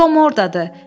Tom ordadır.